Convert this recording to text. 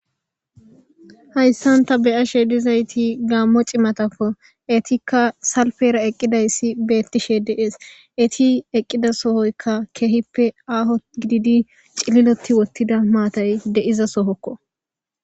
Haysan ta beyashe dizayti gamo c'imatako etika salipera eqidaysi bettishe de'es etti eqidasoyka kehippe Aho gididi c'ililoti uttida matay de'izasoko